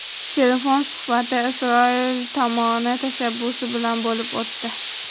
Telefon suhbati Isroil tomoni tashabbusi bilan bo‘lib o‘tdi.